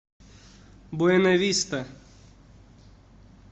буэнависта